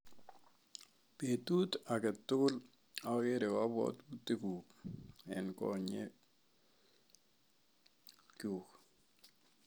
Petut ake tukul akere kapwotutik kuk eng' konyek chuk